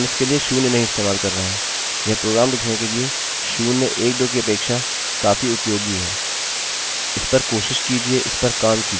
हम इसके लिए शून्य नहीं इस्तेमाल कर रहे हैंयह काफी उपयोगी है प्रोग्राम करने के लिए नाकि शून्य एक दो कहने के लिए